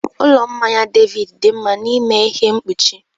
Ụlọ mmanya David dị mma n'ịme ihe mkpuchi